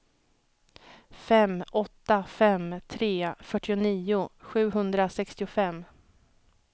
fem åtta fem tre fyrtionio sjuhundrasextiofem